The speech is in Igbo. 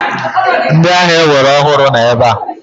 Ndị agha ewere ọhụrụ nọ ebe a.